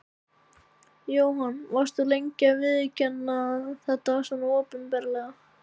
Jóhann: Varst þú lengi að viðurkenna þetta svona opinberlega?